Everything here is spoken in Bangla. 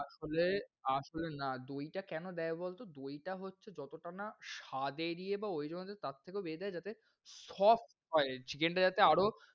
আসলে আসলে না দই টা কেন দেই বলতো? দই টা হচ্ছে যতটা না স্বাদের ইয়ে বা ওইরকম তারথেকেও বেশি দেই যাতে soft করে chicken টা যাতে আরও,